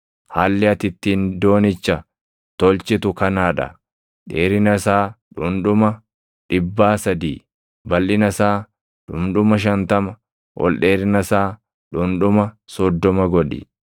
Haalli ati ittiin doonicha tolchitu kanaa dha; dheerina isaa dhundhuma dhibbaa sadii, balʼina isaa dhundhuma shantama, ol dheerina isaa dhundhuma soddoma godhi.